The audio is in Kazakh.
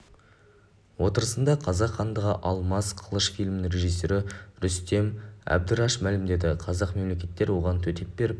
отырысында қазақ хандығы алмас қылыш фильмінің режиссері рүстем әбдіраш мәлімдеді басқа мемлекеттер оған төтеп беріп